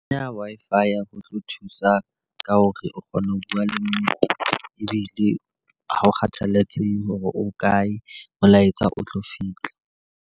Ho kenya Wi-Fi ho tlo thusa ka hore o kgona ho bua le mme ebile ha ho kgathalatsehe hore o kae, molaetsa o tlo fihla.